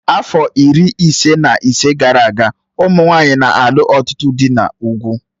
Afọ iri ise na ise gara aga, ụmụ nwanyị na-alụ ọtụtụ dị n'ugwu